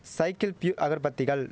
cycle Pure அகர்பத்திகள்